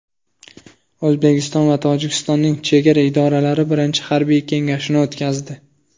O‘zbekiston va Tojikistonning chegara idoralari birinchi harbiy kengashini o‘tkazdi.